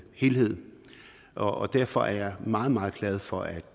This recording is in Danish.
helhed og derfor er jeg meget meget glad for at